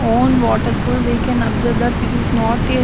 Own waterfall we can observe that this is not a --